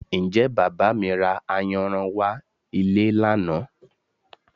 Ǹjẹ́ Bàbá mi ra ayanran wá ilé lánàá?